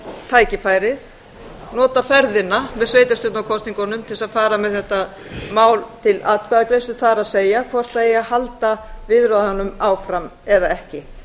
tækifærið nota ferðina með sveitarstjórnarkosningunum til þess að fara með þetta mál til atkvæðagreiðslu það er hvort það eigi að halda viðræðunum áfram eða ekki